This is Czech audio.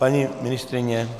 Paní ministryně?